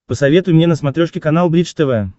посоветуй мне на смотрешке канал бридж тв